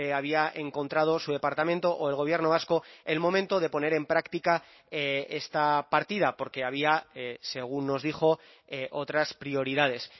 había encontrado su departamento o el gobierno vasco el momento de poner en práctica esta partida porque había según nos dijo otras prioridades